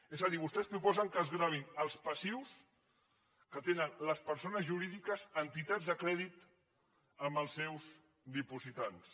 és a dir vostès proposen que es gravin els passius que tenen les persones jurídiques en entitats de crèdit amb els seus dipositants